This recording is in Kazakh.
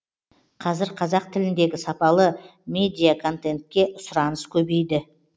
қазір қазақ тіліндегі сапалы медиаконтентке сұраныс көбейді